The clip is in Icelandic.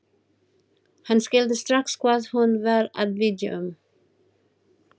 Hann skildi strax hvað hún var að biðja um.